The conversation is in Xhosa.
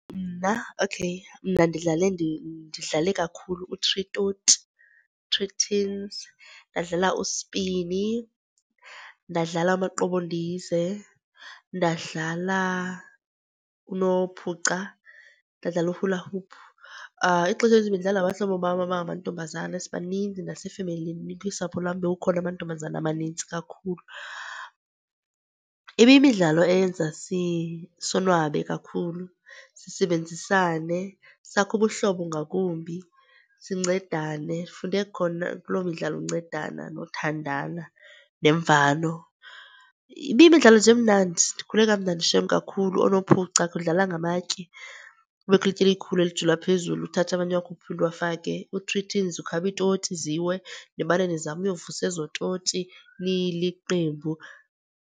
Mna okay, mna ndidlale ndidlale kakhulu u-three toti, three tins. Ndadlala uspini, ndadlala amaqobondize, ndadlala unophuca, ndadlala u-hula hoop. Ixesha elininzi bendidlala nabahlobo bam abangamantombazana, sibaninzi nasefemelini kwisapho lwam bekukhona amantombazana amaninzi kakhulu. Ibiyimidlalo eyenza sonwabe kakhulu, sisebenzisane sakhe ubuhlobo ngakumbi, sincedane. Sifunde khona kuloo midlalo uncedana nothandana, nemvano. Ibiyimidlalo nje emnandi, ndikhule kamnandi shem kakhulu. Oonophuca kudlala ngamatye, kubekho ilitye elikhulu elijulwa phezulu uthathe amanye wakhuphe uphinde uwafake. Ku-three tins ukhaba iitoti ziwe, nimane nizama uyovusa ezo toti niliqembu.